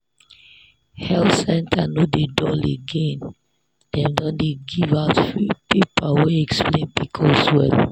health center no dey dull again dem don dey give out free paper wey explain pcos well.